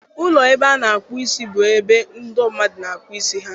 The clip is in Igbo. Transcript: Ụlọ ebe a na-akpụ isi, bụ ebe ndọ mmadụ na-akpụ isi ha.